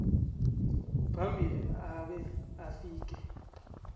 phambili abe afike